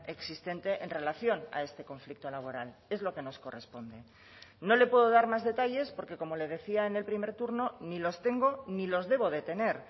existente en relación a este conflicto laboral es lo que nos corresponde no le puedo dar más detalles porque como le decía en el primer turno ni los tengo ni los debo de tener